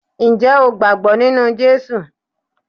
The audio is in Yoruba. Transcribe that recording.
Ǹjẹ́ o gbàgbọ́ nínú Jésù?